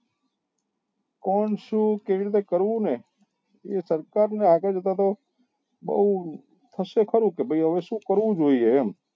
કોમ શું કેવી રીતે કરવું ને એ સરકાર ની આગળ જતા તો બઉ થશે ખરું કે ભાઈ હવે શું કરવું જોઈએ એમ